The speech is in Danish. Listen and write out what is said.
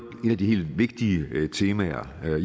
af de helt vigtige temaer